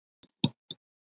brigði í augum þeirra.